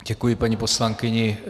Děkuji paní poslankyni.